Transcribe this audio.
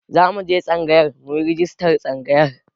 Zamu je tsangayar muyi rajistar tsangayar.